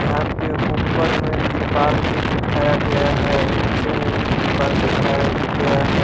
यहां पे ऊपर में भी त्रिपाल जीठाया गया है और नीचे में भी त्रिपाल जीठाया गया है।